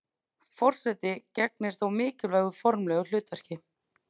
Forseti gegnir þó mikilvægu formlegu hlutverki.